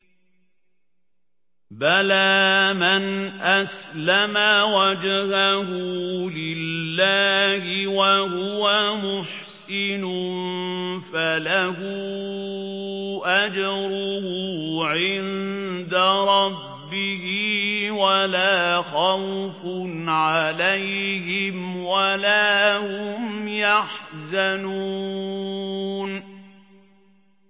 بَلَىٰ مَنْ أَسْلَمَ وَجْهَهُ لِلَّهِ وَهُوَ مُحْسِنٌ فَلَهُ أَجْرُهُ عِندَ رَبِّهِ وَلَا خَوْفٌ عَلَيْهِمْ وَلَا هُمْ يَحْزَنُونَ